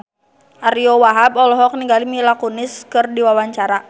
Ariyo Wahab olohok ningali Mila Kunis keur diwawancara